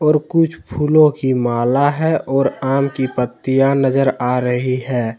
कुछ फूलों की माला है और आम की पत्तियां नजर आ रही है।